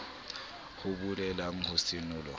ho be le ho senolwa